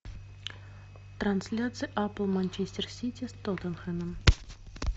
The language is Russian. трансляция апл манчестер сити с тоттенхэмом